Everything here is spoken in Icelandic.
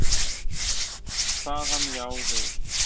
Kvað hann já við.